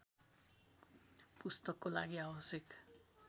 पुस्तकको लागि आवश्यक